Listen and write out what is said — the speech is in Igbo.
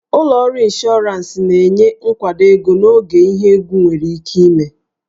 Ụlọ ọrụ ịnshọransị na-enye nkwado ego n'oge ihe egwu nwere ike ime